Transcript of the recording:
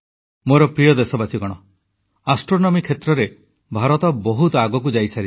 ମୋର ପ୍ରିୟ ଦେଶବାସୀଗଣ ଜ୍ୟୋତିର୍ବିଜ୍ଞାନ କ୍ଷେତ୍ରରେ ଭାରତ ବହୁତ ଆଗକୁ ଯାଇସାରିଛି